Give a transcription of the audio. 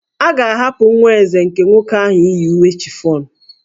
A ga-ahapụ nwa Eze nke nwoke ahụ iyi uwe chiffon?